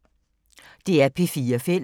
DR P4 Fælles